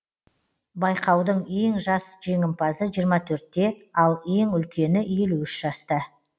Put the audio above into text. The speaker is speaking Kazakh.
байқаудың ең жас жеңімпазы жиырма төртте ал ең үлкені елу үш жаста